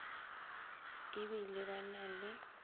e bile ba na le